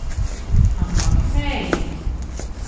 Ampak hej!